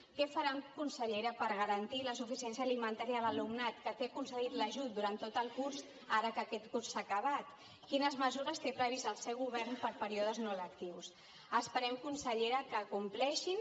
què faran consellera per garantir la suficiència alimentària a l’alumnat que té concedit l’ajut durant tot el curs ara que aquest curs s’ha acabat quines mesures té previstes el seu govern per a períodes no lectius esperem consellera que compleixin